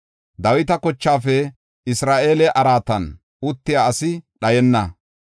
Dawita kochaafe Isra7eele araatan uttiya asi dhayenna.